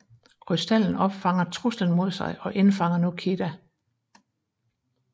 Krystallen opfanger truslen mod sig og indfanger nu Kida